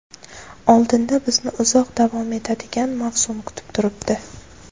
Oldinda bizni uzoq davom etadigan mavsum kutib turibdi.